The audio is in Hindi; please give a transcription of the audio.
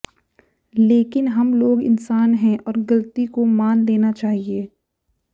लेकिन हम लोग इंसान है और ग़लती को मान लेना चाहिए